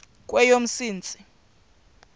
kweyomsintsi